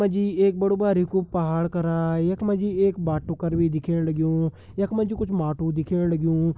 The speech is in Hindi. यख मा जी एक बड़ु बारिकु पहाड़ करा यख मा जी एक बाटु कर भी दिखेण लग्युं यख मा जु कुछ माटु दिखेण लग्युं।